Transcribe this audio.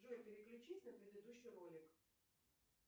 джой переключись на предыдущий ролик